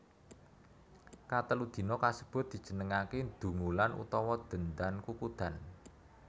Katelu dina kasebut dijenengaké Dungulan utawa Dendan Kukudan